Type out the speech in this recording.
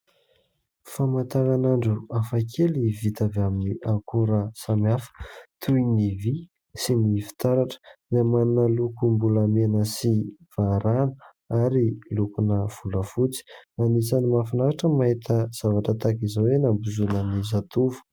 Famantaran' andro hafakely, vita avy amin'ny akora samihafa toy ny vy sy ny fitaratra ; dia manana lokom-bolamena sy varahina ary lokom-bolafotsy. Anisany mahafinaritra ny mahita zavatra tahaka izao eny am-bozonan'ny zatovo.